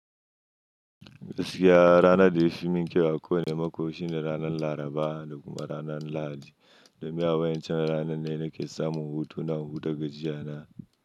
Gaskiya ranar da ya fi min kyau a ko wani mako shine ranar Laraba da kuma ranar Lahadi. Domin a wacan ranan ne nake samun hutu na huta gajiya na.